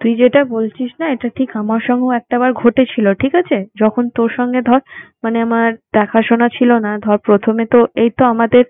তুই যেটা বলছিস না এটা ঠিক আমার সঙ্গেও একটাবার ঘটেছিল। ঠিকাছে? যখন তোর সঙ্গে ধর মানে আমার দেখাশোনা ছিল না, ধর প্রথমে তো এইতো আমাদের